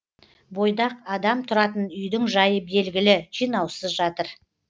бойдақ адам тұратын үйдің жайы белгілі жинаусыз жатыр